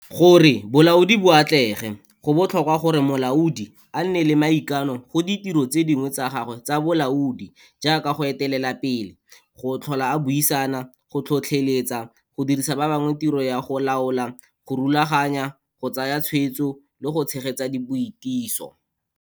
Gore bolaodi bo atlege, go botlhokwa gore molaodi a nne la maikano go ditiro tse dingwe tsa gagwe tsa bolaodi jaaka go etelela pele, go tlhola a buisana, go tlhotlheletsa, go dirisa ba bangwe tiro ya go laola, go rulaganya, go tsaya tswetso le go tshegetsa boitiso.